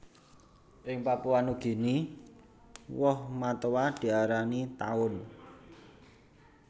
Ing Papua Nugini woh matoa diarani Taun